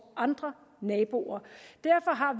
andre naboer derfor har